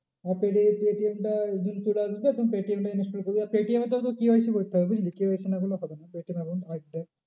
আর তোর এই পেটিএম টা গুগল পে পেটিএম টা install করবি। আর পেটিএম তো তোর KYC করতে হবে বুঝলি KYC না করলে হবে না